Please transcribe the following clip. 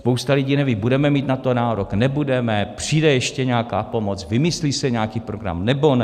Spousta lidí neví: budeme mít na to nárok, nebudeme, přijde ještě nějaká pomoc, vymyslí se nějaký program, nebo ne?